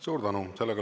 Suur tänu!